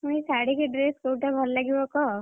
ଶାଢୀ କି dress କୋଉଟା ଭଲ ଲାଗିବ କହ!